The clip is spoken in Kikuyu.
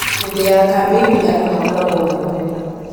hĩndĩ ya kambĩini andũ makoragwo na rũmena